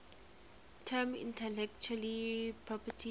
term intellectual property